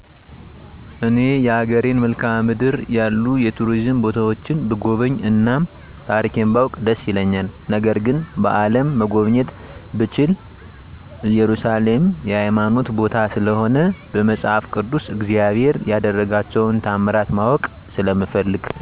እኔ የሀገሬን መልካዓ ምድር ያሉ የቱሪዝም ቦታዎችን ብጎበኝ እና ታሪኬን ባውቅ ደስ ይለኛል ነገር ግን በአለም መጎብኘት ብችል እየሩሳሌም የሀይማኖት ቦታ ስለሆነ በመፃፍ ቅድስ እግዚአብሔር የደረጋቸውን ታምራት ማወቅ ስለምፈልግ።